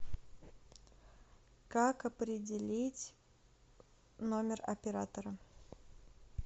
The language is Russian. как определить номер оператора